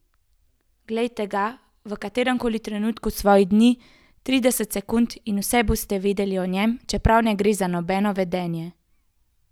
Glejte ga v katerem koli trenutku svojih dni, trideset sekund, in vse boste vedeli o njem, čeprav ne gre za nobeno vedenje.